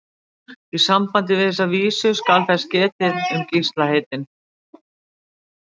Í sambandi við þessa vísu skal þess getið um Gísla heitinn